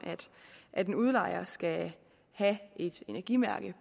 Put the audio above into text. at en udlejer mindst skal have et energimærke